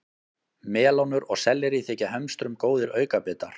Melónur og sellerí þykja hömstrum góðir aukabitar.